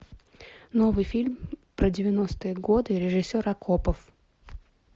новый фильм про девяностые годы режиссер акопов